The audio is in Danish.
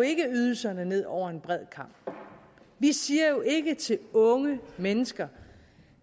ydelserne ned over en bred kam vi siger jo ikke til unge mennesker